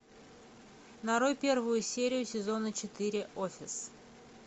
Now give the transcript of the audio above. нарой первую серию сезона четыре офис